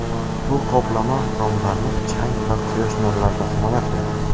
Bu qoplama romlarni chang va quyosh nurlaridan himoya qiladi.